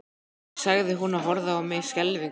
sagði hún og horfði á mig skelfingu lostin.